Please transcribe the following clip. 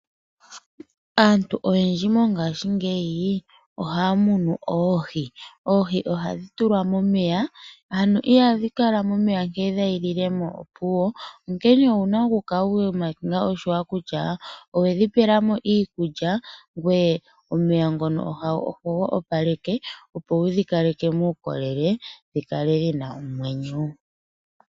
Aantu oyendji mongayingeyi ohaya munu oohi . Oohi ohadhi tulwa momeya ano ihadhi kala momeya nkene dha yilemo opuwo onkene owuna okukala wa sa oshimpwiyu kutya owedhi pa iikulya ngweye omeya ngono ohogo paleke opo wudhi kaleke muukolele dhikale dhina omwenyo.